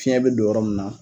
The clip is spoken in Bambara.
Fiɲɛ be don yɔrɔ min na